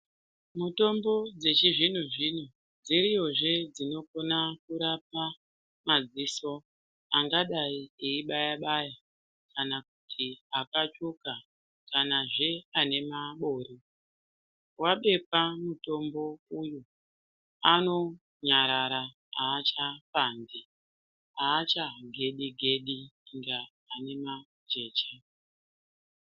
Mutombo dzechi zvino zvino dziriyo zve dzino kona kurapa madziso angadai eyi baya baya kana kuti aka tsvuka kana zvee ane mabori wabekwa mutombo uyu ano nyarara acha pandi acha ngeni ngeni kunge ane majecha.